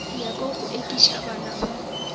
nyaka go ekiša bana ba